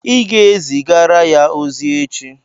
Ị ga-ezigara ya ozi echi